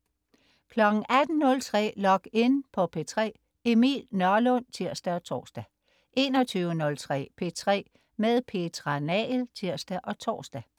18.03 Log In på P3. Emil Nørlund (tirs og tors) 21.03 P3 med Petra Nagel (tirs og tors)